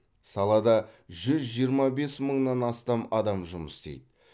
салада жүз жиырма бес мыңнан астам адам жұмыс істейді